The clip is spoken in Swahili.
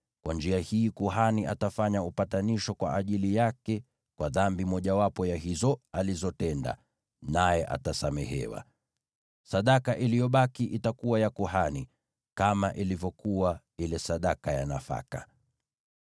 Kwa njia hii kuhani atafanya upatanisho kwa ajili yake kwa dhambi yoyote ya hizo alizotenda, naye atasamehewa. Sadaka iliyobaki itakuwa ya kuhani, kama ilivyokuwa ile sadaka ya nafaka.’ ”